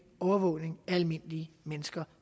overvågning af almindelige mennesker